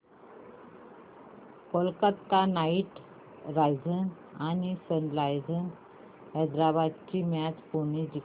Kolkata Knight Riders आणि Sunrisers Hyderabad ही match कोणी जिंकली